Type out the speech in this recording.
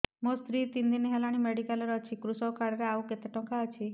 ମୋ ସ୍ତ୍ରୀ ତିନି ଦିନ ହେଲାଣି ମେଡିକାଲ ରେ ଅଛି କୃଷକ କାର୍ଡ ରେ ଆଉ କେତେ ଟଙ୍କା ଅଛି